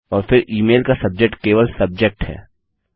और फिर email का सब्जेक्ट केवल सब्जेक्ट है